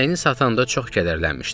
İnəyini satanda çox kədərlənmişdi.